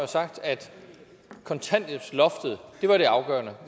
sagt at kontanthjælpsloftet er det afgørende